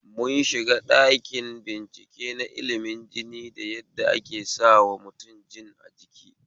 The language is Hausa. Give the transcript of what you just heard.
Mun shiga ɗakin bincike na ilimin jini da yadda ake sawa mutum jin a jiki